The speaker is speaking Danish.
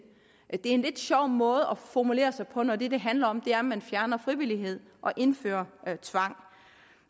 er en lidt sjov måde at formulere sig på når det det handler om er at man fjerner frivillighed og indfører tvang